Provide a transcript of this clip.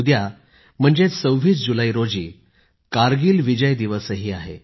उद्या म्हणजेच 26 जुलै रोजी कारगिल विजय दिवसही आहे